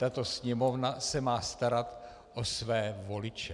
Tato Sněmovna se má starat o své voliče.